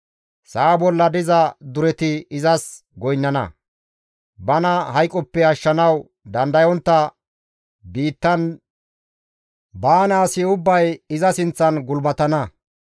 Sa7a bolla diza dureti izas goynnana. Bana hayqoppe ashshanawu dandayontta biittan baana asi ubbay iza sinththan gulbatana.